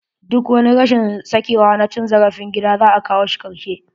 Duk wani rashin sakewa na cin zarafin gida, za a kawo shi karshe.